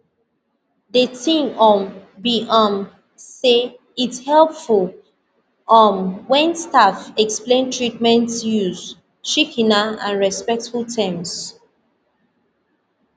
de tin um be um say its helpful um wen staff explain treatments use shikena and respectful terms